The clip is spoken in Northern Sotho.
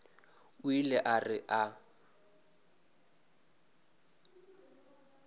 o ile a re a